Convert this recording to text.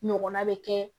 Ɲɔgɔnna bɛ kɛ